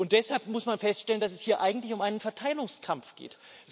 Deshalb muss man feststellen, dass es hier eigentlich um einen Verteilungskampf geht.